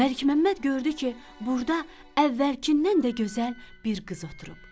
Məlikməmməd gördü ki, burda əvvəlkindən də gözəl bir qız oturub.